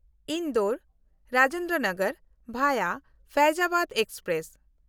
Indore-Rajendra Nagar ᱵᱷᱟᱭᱟ ᱯᱷᱟᱭᱡᱽᱟᱵᱟᱫ express